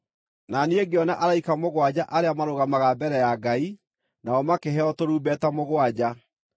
Na niĩ ngĩona araika mũgwanja arĩa marũgamaga mbere ya Ngai, nao makĩheo tũrumbeta mũgwanja.